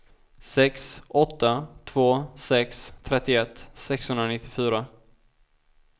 sex åtta två sex trettioett sexhundranittiofyra